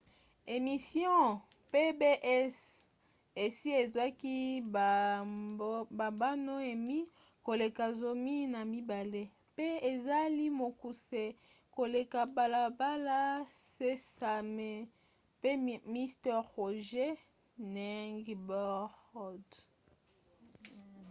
emission pbs esi ezwaki bambano emmy koleka zomi na mibale npe ezali mokuse koleka balabala sesame pe mister rogers 'neighborhood